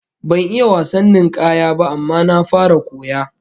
Ban iya wasan ninkaya ba, amma na fara koya